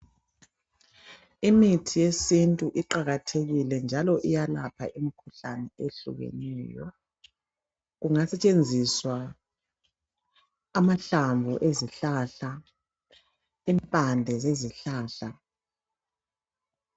Imithi yesintu iqakathekile njalo iyalapha imikhuhlane ehlukeneyo . Kungasetshenziswa amahlamvu ezihlahla, impande zezihlahla.